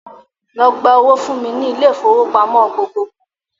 Lọ gba owó fún mi ní ilé-ifowópamọ gbogbogbò!